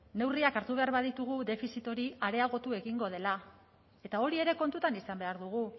neurriak hartu behar baditugu defizit hori areagotu egingo dela eta hori ere kontutan izan behar dugu